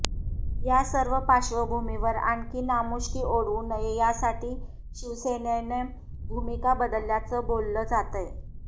या सर्व पार्श्वभूमीवर आणखी नामुष्की ओढवू नये यासाठी शिवेसेनेनं भूमिका बदलल्याचं बोललं जातंय